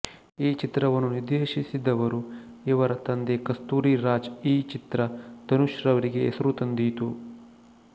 ಈ ಚಿತ್ರವನ್ನು ನಿರ್ದೇಶಿಸಿದವರು ಇವರ ತಂದೆ ಕಸ್ತೂರಿರಾಜ್ ಈ ಚಿತ್ರ ಧನುಷ್ ರವರಿಗೆ ಹೆಸರು ತಂದಿತು